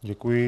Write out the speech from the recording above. Děkuji.